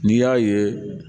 N'i y'a ye